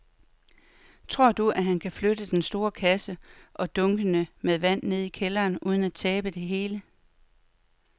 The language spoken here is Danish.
Tror du, at han kan flytte den store kasse og dunkene med vand ned i kælderen uden at tabe det hele?